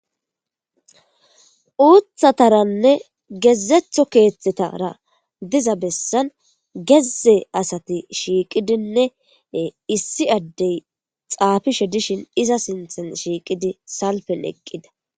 uuthataranne gezetho keethtetara diza bessan gezze asati shiiqidinne issi addey xaafishe dishin iza sinthan shiiqidi salpen eqqida